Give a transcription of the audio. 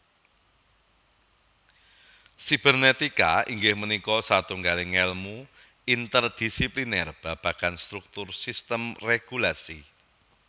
Sibernetika inggih punika satunggaling ngèlmu interdisipliner babagan struktur sistem régulasi